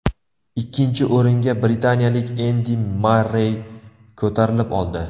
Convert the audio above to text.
Ikkinchi o‘ringa britaniyalik Endi Marrey ko‘tarilib oldi.